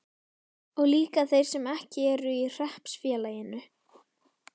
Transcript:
Og líka þeir sem ekki eru í hreppsfélaginu?